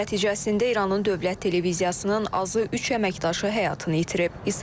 Hücum nəticəsində İranın Dövlət Televiziyasının azı üç əməkdaşı həyatını itirib.